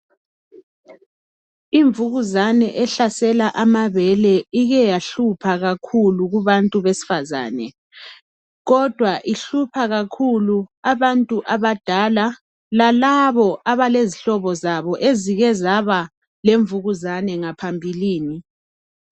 Imvukuzane ehlasela amabele ike yahlupha kakhulu kubantu besifazane kodwa ihlupha kakhulu abantu abadala lalabo abalezihlobo zabo ezike zabalemvukuzane ngaphambilini